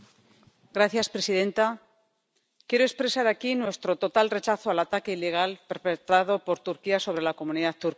Señora presidenta, quiero expresar aquí nuestro total rechazo al ataque ilegal perpetrado por Turquía sobre la comunidad kurda.